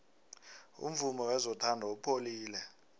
umvumo wezothando upholile